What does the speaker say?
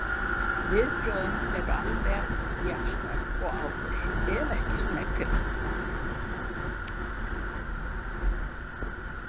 Viðbrögðin eru alveg jafn snögg og áður, ef ekki sneggri.